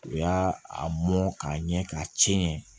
U y'a a mɔn k'a ɲɛ k'a cɛn